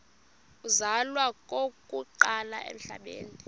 uzalwa okokuqala emhlabeni